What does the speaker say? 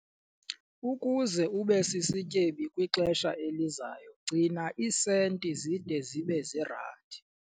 Ukuze ube sisityebi kwixesha elizayo, gcina iisenti zide zibe ziirandi.